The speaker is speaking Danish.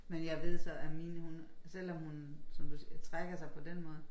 Men jeg ved så at mine hun selvom hun som du siger trækker sig på den måde